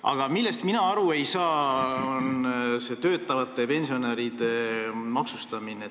Aga mina ei saa aru töötavate pensionäride maksustamisest.